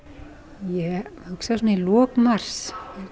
ég hugsa svona í lok mars